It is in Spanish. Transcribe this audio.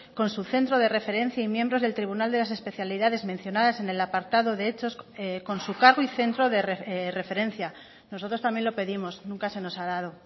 con su centro de referencia y miembros del tribunal de las especialidades mencionadas en el apartado de hechos con su cargo y centro de referencia nosotros también lo pedimos nunca se nos ha dado